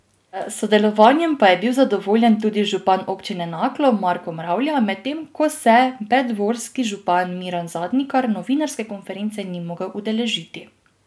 S sodelovanjem pa je bil zadovoljen tudi župan Občine Naklo Marko Mravlja, medtem ko se preddvorski župan Miran Zadnikar novinarske konference ni mogel udeležiti.